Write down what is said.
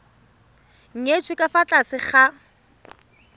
nyetswe ka fa tlase ga